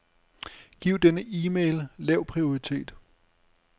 Giv denne e-mail lav prioritet.